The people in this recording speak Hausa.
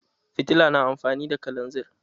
Fitila na amfani da kalanzir.